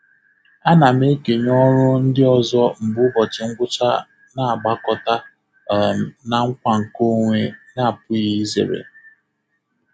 A na m ekenye ọrụ ndị ọzọ mgbe ụbọchị ngwụcha na-agbakọta um na nkwa nkeonwe na-apụghị izere.